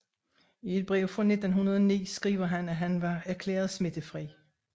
I et brev fra 1909 skriver han at han var erklæret smittefri